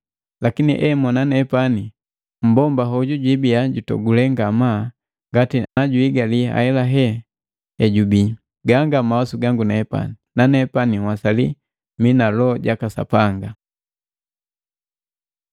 Lakini emona nepani, mumbomba hoju jibiya jutogule ngamaa ngati najuhigali ahelahela ejubii. Ganga mawasu gango, na nepani nhwasali mii na Loho jaka Sapanga.